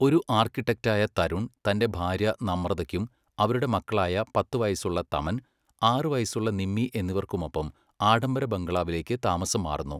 ഒരു ആർക്കിടെക്റ്റായ തരുൺ തന്റെ ഭാര്യ നമ്രതയ്ക്കും അവരുടെ മക്കളായ പത്ത് വയസ്സുള്ള തമൻ, ആറ് വയസ്സുള്ള നിമ്മി എന്നിവർക്കുമൊപ്പം ആഡംബര ബംഗ്ലാവിലേക്ക് താമസം മാറുന്നു.